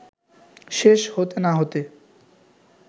শেষ হতে না হতে